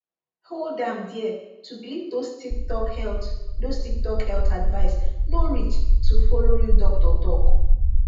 hold am there to believe those tiktok health those tiktok health advice no reach to follow real doctor talk